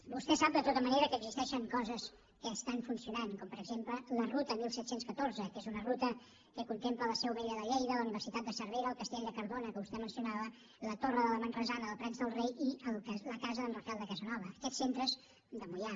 vostè sap de tota manera que existeixen coses que estan funcionant com per exemple la ruta disset deu quatre que és una ruta que contempla la seu vella de lleida la universitat de cervera el castell de cardona que vostè mencionava la torre de la manresana dels prats de rei i la casa d’en rafael de casanova de moià